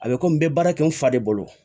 A bɛ komi n bɛ baara kɛ n fa de bolo